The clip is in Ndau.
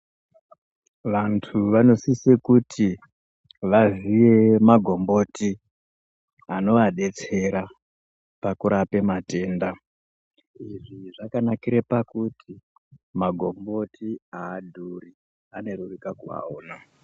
Vantu vonosise kuti vaziye magomboti anobadetsera pakurapa matenda ozvi zvakanakire pakuti magomboti haadhuri akareruka kuaona.